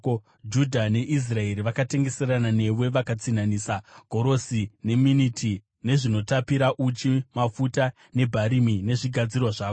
“ ‘Judha neIsraeri vakatengeserana newe, vakatsinhanisa gorosi neMiniti nezvinotapira, uchi, mafuta nebharimi nezvigadzirwa zvako.